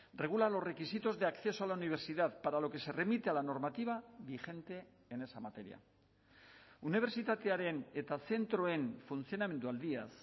regula los requisitos de acceso a la universidad para lo que se remite a la normativa vigente en esa materia unibertsitatearen eta zentroen funtzionamendu aldiaz